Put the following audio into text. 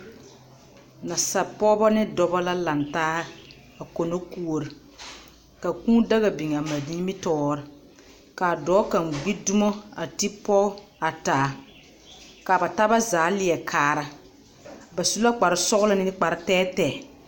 nasapɔgeba ne dɔba la laŋ taa a kono kuori. Ka kũũ daga biŋ a ba nimitɔɔreŋ ka a dɔɔ kaŋ gbi dumo a ti pɔge kaŋa a taa ka aba taaba zaa lɛ kaara ba sula kpare sɔgelɔ ne kpare tɛɛtɛɛ